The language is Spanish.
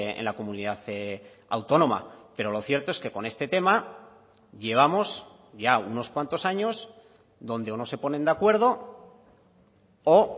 en la comunidad autónoma pero lo cierto es que con este tema llevamos ya unos cuantos años donde o no se ponen de acuerdo o